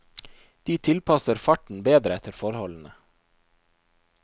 De tilpasser farten bedre etter forholdene.